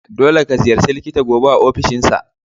Dolle ka ziyarace likita gobe a ofishinsa.